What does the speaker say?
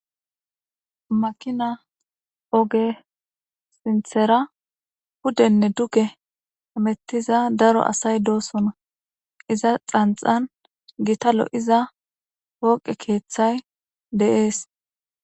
makina oge sinthera pudenne duge hamettiza daro asay doosona iza xanxan gitalo iza pooqe keeththay de'ees